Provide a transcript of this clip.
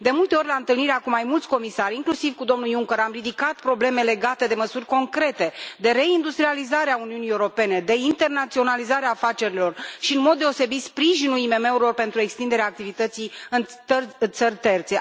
De multe ori, la întâlnirea cu mai mulți comisari, inclusiv cu domnul Juncker, am ridicat probleme legate de măsuri concrete, de reindustrializare a Uniunii Europene, de internaționalizare a afacerilor și, în mod deosebit, sprijinul IMM urilor pentru extinderea activității în țări terțe.